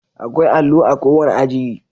Akwai allo a kowane aji